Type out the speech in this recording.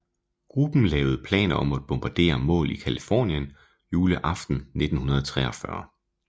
Gruppen lavede planer om at bombardere mål i Californien juleaften 1941